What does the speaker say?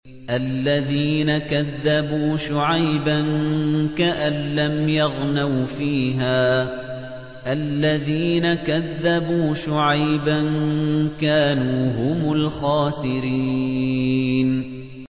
الَّذِينَ كَذَّبُوا شُعَيْبًا كَأَن لَّمْ يَغْنَوْا فِيهَا ۚ الَّذِينَ كَذَّبُوا شُعَيْبًا كَانُوا هُمُ الْخَاسِرِينَ